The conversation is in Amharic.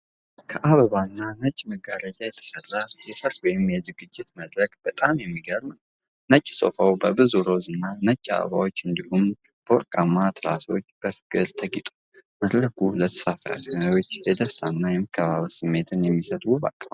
ከአበባ እና ነጭ መጋረጃዎች የተሠራ የሰርግ ወይም የዝግጅት መድረክ በጣም የሚገርም ነው። ነጭ ሶፋው በብዙ ሮዝ እና ነጭ አበባዎች እንዲሁም በወርቃማ ትራሶች በፍቅር ተጊጧል። መድረኩ ለተሳታፊዎች የደስታ እና የመከባበር ስሜት የሚሰጥ ውብ አቀማመጥ አለው።